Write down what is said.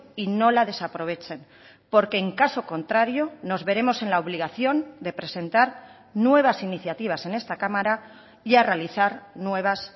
y no la desaprovechen porque en caso contrario nos veremos en la obligación de presentar nuevas iniciativas en esta cámara y a realizar nuevas